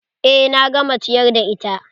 Eh na gama ciyar da ita.